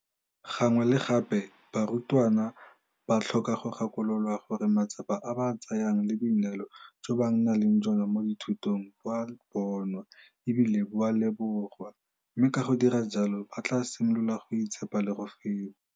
Gangwe le gape barutwana ba tlhoka go gakololwa gore matsapa a ba a tsayang le boineelo jo ba nang le jona mo dithutong bo a bonwa e bile bo a lebogwa, mme ka go dira jalo ba tla simolola go itshepa le go feta.